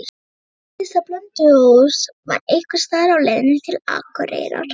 Hann vissi að Blönduós var einhversstaðar á leiðinni til Akureyrar.